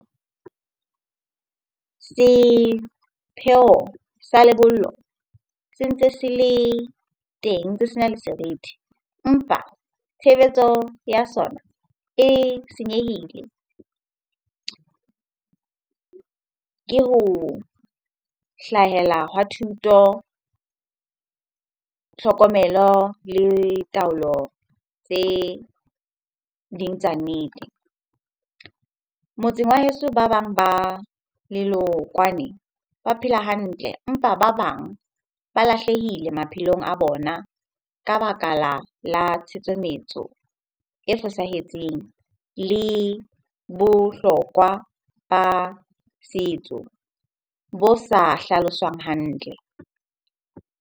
Sepheo sa lebollo se ntse se le teng, ntse sena le serithi. Empa tshebetso ya sona e senyehile ke ho hlahela hwa thuto, tlhokomelo le taolo tse ding tsa nnete. Motseng wa heso ba bang ba ba phela hantle empa ba bang ba lahlehile maphelong a bona ka baka tshutsometso e fosahetseng le bohlokwa ba setso bo sa hlaloswang hantle.